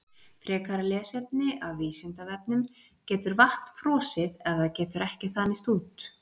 Frekara lesefni af Vísindavefnum: Getur vatn frosið ef það getur ekki þanist út?